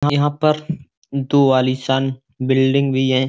यहाँ पर दो आलीशान बिल्डिंग भी है।